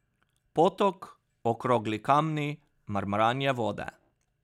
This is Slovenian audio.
Potok, okrogli kamni, mrmranje vode.